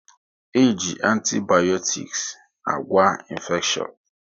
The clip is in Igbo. E ji antibayotiks agwa infeshion